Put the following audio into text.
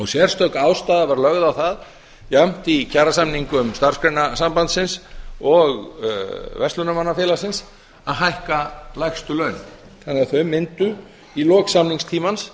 sérstök ástæða var lögð á það jafnt í kjarasamningum starfsgreinasambandsins og verslunarmannafélagsins að hækka lægstu laun þannig að þau mundu í lok samningstímans